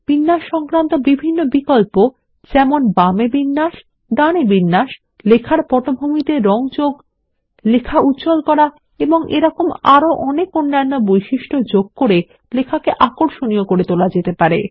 বিন্যাস সংক্রান্ত সব বিকল্প যেমন বামে বিন্যাস ডানে বিন্যাস লেখার পটভূমিতে রঙ যোগ লেখা উজ্জ্বল করা এবং আরো অনেক অন্যান্য বৈশিষ্ট্য যোগ করে লেখাকে আকর্ষণীয় করে তোলা যেতে পারে